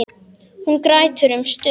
Hún grætur um stund.